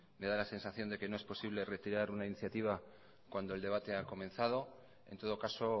me da la sensación de que no es posible retirar una iniciativa cuando el debate ha comenzado en todo caso